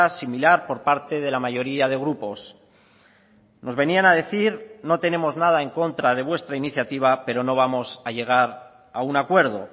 similar por parte de la mayoría de grupos nos venían a decir no tenemos nada en contra de vuestra iniciativa pero no vamos a llegar a un acuerdo